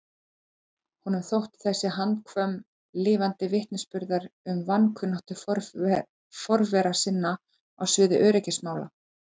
Honum þótti þessi handvömm lifandi vitnisburður um vankunnáttu forvera sinna á sviði öryggismála.